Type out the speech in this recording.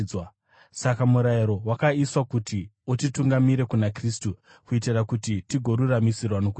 Saka murayiro wakaiswa kuti utitungamirire kuna Kristu kuitira kuti tigoruramisirwa nokutenda.